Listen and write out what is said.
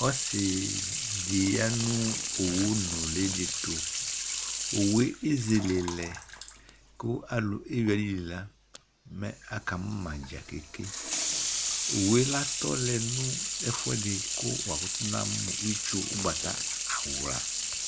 ɔsi di ya no owu nuli di to owu yɛ ezele lɛ kò alò ewi ayili la mɛ aka mò ma dza keke owu yɛ atɔ lɛ no ɛfu ɛdi kò wakutò na mo itsu ugbata awla